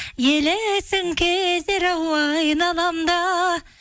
елесің кетер ау айналамда